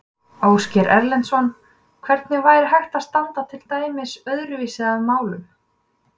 Ásgeir Erlendsson: Hvernig væri hægt að standa til dæmis öðruvísi að málum?